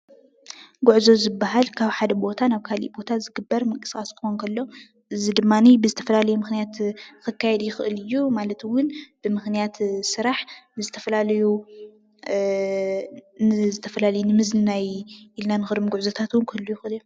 ጉዕዞ ዝበሃል ካብ ሓደ ቦታ ናብ ካሊእ ቦታ ዝግበር ምቅስቃስ እትኮን ፤ እዚ ድማ ብዝተፈላለዩ ምክንያት ክካየድ ይክእል እዩ። እዚ ድማ ብምክንያት ስራሕ ዝተፈላለዩ፣ ንዝተፈላለዩ ንምዝንናናይ ኢልና ንከዶም ጉዕዞታት እወን ክህልው ይክእሉ እዮም።